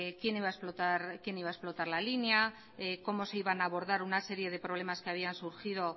quién iba a explotar la línea cómo se iban a abordar una serie de problemas que habían surgido